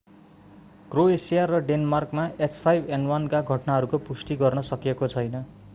Croatia र डेनमार्कमा h5n1 का घटनाहरूको पुष्टि गर्न सकिएको छैन।